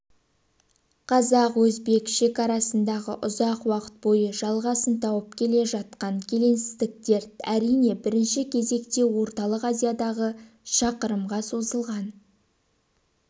қазақ-өзбек шекарасындағы ұзақ уақыт бойы жалғасын тауып келе жатқан келеңсіздіктер әрине бірінші кезекте орталық азиядағы шақырымға созылған